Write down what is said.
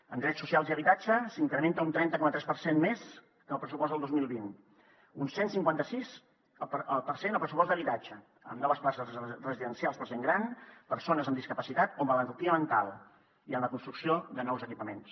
en drets socials i habitatge s’incrementa un trenta coma tres per cent més que el pressupost del dos mil vint un cent i cinquanta sis per cent el pressupost d’habitatge amb noves places residencials per a gent gran persones amb discapacitat o malaltia mental i en la construcció de nous equipaments